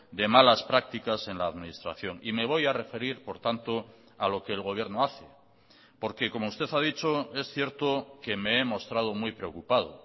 de malas prácticas en la administración y me voy a referir por tanto a lo que el gobierno hace porque como usted ha dicho es cierto que me he mostrado muy preocupado